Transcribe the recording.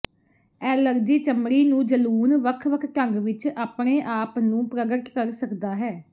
allergy ਚਮੜੀ ਨੂੰ ਜਲੂਣ ਵੱਖ ਵੱਖ ਢੰਗ ਵਿੱਚ ਆਪਣੇ ਆਪ ਨੂੰ ਪ੍ਰਗਟ ਕਰ ਸਕਦਾ ਹੈ